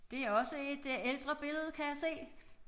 Det også et øh ældre billede kan jeg se